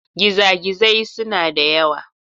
Gizagizai suna da yawa.